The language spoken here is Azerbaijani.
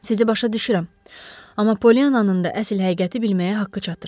Sizi başa düşürəm, amma Poliannanın da əsl həqiqəti bilməyə haqqı çatır.